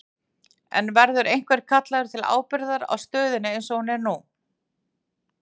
En verður einhver kallaður til ábyrgðar á stöðunni eins og hún er nú?